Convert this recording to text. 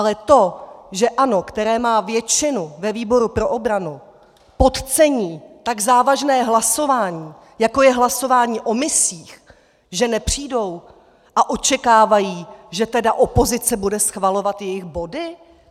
Ale to, že ANO, které má většinu, ve výboru pro obranu, podcení tak závažné hlasování, jako je hlasování o misích, že nepřijdou a očekávají, že tedy opozice bude schvalovat jejich body?